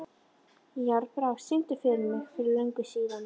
Járnbrá, syngdu fyrir mig „Fyrir löngu síðan“.